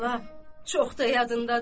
Bala, çox da yadındadır.